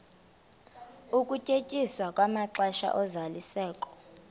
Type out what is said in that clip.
ukunyenyiswa kwamaxesha ozalisekiso